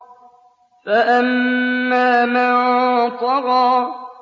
فَأَمَّا مَن طَغَىٰ